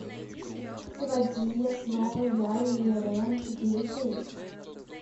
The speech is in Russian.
заводи я снова я и ирэн четыре кей